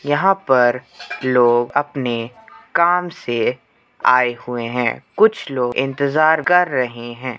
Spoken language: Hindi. यहाँ पर लोग अपने काम से आए हुए हैं। कुछ लोग इंतज़ार कर रहे हैं।